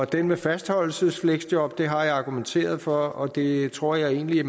den med fastholdelsesfleksjob har jeg argumenteret for og det tror jeg egentlig